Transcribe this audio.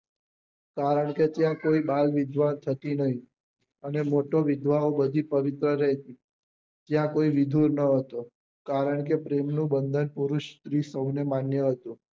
કારણ કે ત્યાં કોઈ બાળવિધવા થતી નહી અને મોટો વિધવા ઓ બધી પવિત્ર રહેતી ત્યાં કોઈ વિધુર નાં હતો કારણ કે પ્રેમ નું બંધન પુરુષ સ્ત્રી સૌ ને માન્ય હતું